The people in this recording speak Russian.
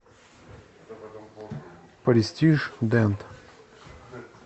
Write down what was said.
престиж дент